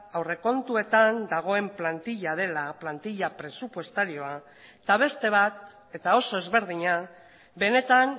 aurrekontuetan dagoen plantila dela plantila presupuestarioa eta beste bat eta oso ezberdina benetan